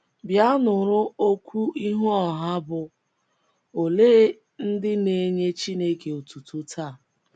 Bịa, Nụrụ Okwu Ihu Ọha Bụ́ “ Olee Ndị Na - enye Chineke Otuto Taa? ”